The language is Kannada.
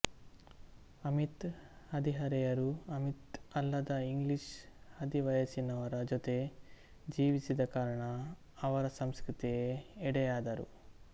ಅಮಿಶ್ ಹದಿಹರೆಯರು ಅಮಿಶ್ಅಲ್ಲದ ಇಂಗ್ಲೀಷ್ ಹದಿವಯಸ್ಸಿನವರ ಜೊತೆ ಜೀವಿಸಿದ ಕಾರಣ ಅವರ ಸಂಸ್ಕೃತಿಗೆ ಎಡೆಯಾದರು